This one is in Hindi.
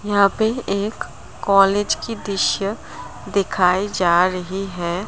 यहां पे एक कॉलेज की दिश्य दिखाई जा रही है।